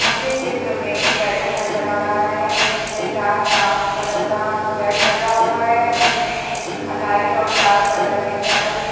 मुझे चित्र में एक बैडरूम नज़र आ रहा है जिसमे डार्क ब्राउन कलर का बेड लगा हुआ है उसमे लाइट और डार्क कलर में चादर बिछ --